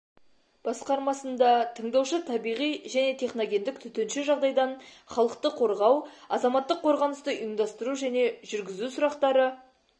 басқармасында тыңдаушы табиғи және техногендік төтенше жағдайдан халықты қорғау азаматтық қорғанысты үйымдастыру және жүргізу сұрақтары